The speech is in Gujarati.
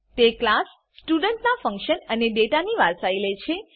તે ક્લાસ સ્ટુડન્ટ નાં ફંક્શન અને ડેટાની વારસાઈ લે છે